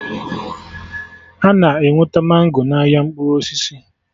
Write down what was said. Ana enweta mango n'ahịa mkpụrụ osisi